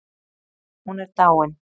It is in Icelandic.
Hún er dáin